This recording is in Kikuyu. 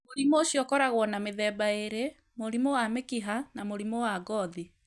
Mũrimũ ũcio ũkoragwo na mĩthemba ĩĩrĩ, mũrimũ wa mĩkiha na mũrimũ wa wa ngothi.